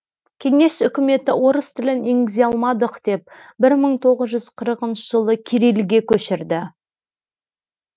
кеңес үкіметі орыс тілін енгізе алмадық деп бір мың тоғыз жүз қырықыншы жылы кириллге көшірді